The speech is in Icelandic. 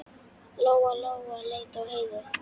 Lóa-Lóa leit á Heiðu.